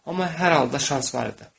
Amma hər halda şans var idi.